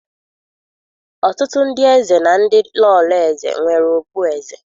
Ọtụtụ ndị eze na ndị Lọlọ eze nwere okpueze.